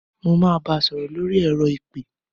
Mo máa bá sọ̀rọ̀ lórí ẹ̀rọ ìpè.